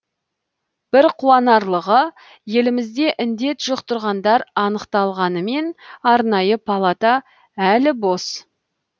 бір қуанарлығы елімізде індет жұқтырғандар анықталғанымен арнайы палата әлі бос